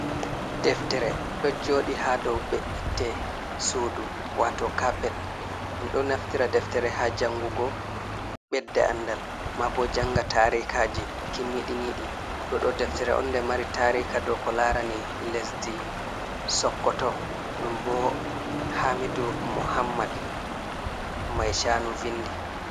Deftere ɗo joɗi ha dow be’itte sudu wato kappet, ɗum do naftira deftere ha jangugo bedde andal ma bo janga tarikaji kimmiɗiniɗi, ɗo ɗo deftere on nde mari tarika do ko larani lesdi sokkoto ɗum bo hamidu mohammad mai chanu vindi.